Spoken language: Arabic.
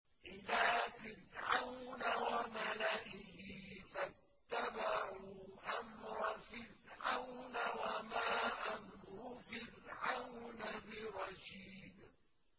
إِلَىٰ فِرْعَوْنَ وَمَلَئِهِ فَاتَّبَعُوا أَمْرَ فِرْعَوْنَ ۖ وَمَا أَمْرُ فِرْعَوْنَ بِرَشِيدٍ